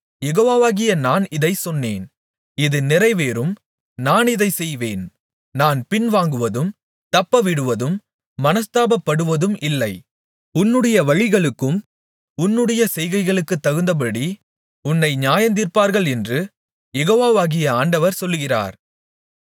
யெகோவாகிய நான் இதைச் சொன்னேன் இது நிறைவேறும் நான் இதைச் செய்வேன் நான் பின்வாங்குவதும் தப்பவிடுவதும் மனஸ்தாபப்படுவதும் இல்லை உன்னுடைய வழிகளுக்கும் உன்னுடைய செய்கைகளுக்குத்தகுந்தபடி உன்னை நியாயந்தீர்ப்பார்களென்று யெகோவாகிய ஆண்டவர் சொல்லுகிறார்